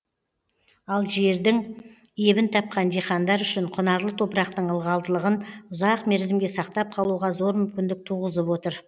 ал жердің ебін тапқан диқандар үшін құнарлы топырақтың ылғалдығын ұзақ мерзімге сақтап қалуға зор мүмкіндік туғызып отыр